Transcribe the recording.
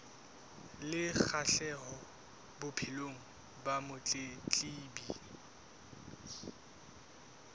le kgahleho bophelong ba motletlebi